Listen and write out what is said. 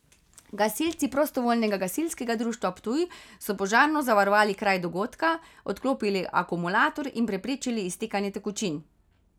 Gasilci prostovoljnega gasilskega društva Ptuj so požarno zavarovali kraj dogodka, odklopili akumulator in preprečili iztekanje tekočin.